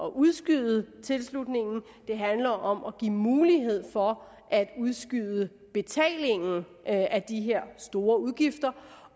at udskyde tilslutningen men det handler om at give mulighed for at udskyde betalingen af de her store udgifter